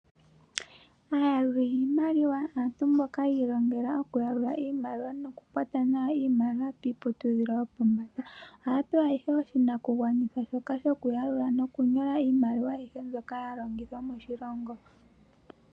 Aayaluli yiimaliwa aantu mboka yiilongela okuyalula iimaliwa noku kwata nawa iimaliwa piiputudhilo yopombanda. Ohaya pewa ihe oshinakugwanitha shoka shokuyalula nokunyola iimaliwa ayihe mbyoka yalongithwa moshilongo.